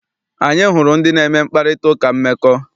Anyị hụrụ ndị na-eme mkparitauka mmekọ.